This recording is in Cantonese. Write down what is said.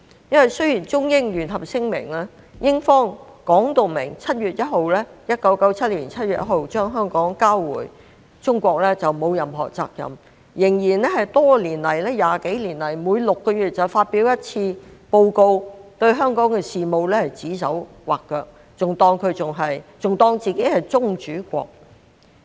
雖然英方在《中英聯合聲明》中說明1997年7月1日將香港交回中國後就沒有任何責任，但20幾年來仍然每6個月發表一次報告，對香港的事務指手劃腳，還當自己是宗主國。